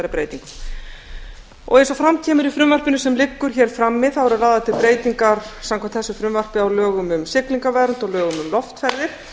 breytingum eins og fram kemur í frumvarpinu sem liggur hér frammi eru lagðar til breytingar samkvæmt þessu frumvarpi á lögum um siglingavernd og lögum um loftferðir